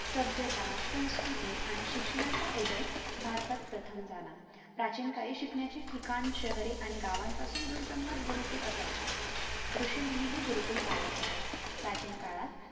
सभ्यता, संस्कृती आणि शिक्षणाचा उदय भारतात प्रथम झाला प्राचीन काळी शिकण्याचे ठिकाण शहरे आणि गावापासून दूर जंगलात गुरुकुल असायचे ऋषीमुनी हि गुरुकुल चालवत असत प्राचीन काळात